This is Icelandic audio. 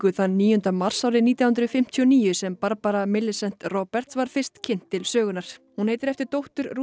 þann níu mars árið nítján hundruð fimmtíu og níu sem Barbara Roberts var fyrst kynnt til sögunnar hún heitir eftir dóttur Ruth